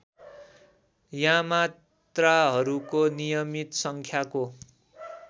यामात्राहरूको नियमित सङ्ख्याको